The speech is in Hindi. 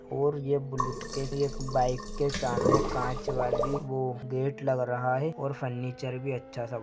ओर ये बुलेट एक बाईक के सामने काच वाली वो गेट लग रहा है और फनीचर भी अच्छा सा बन --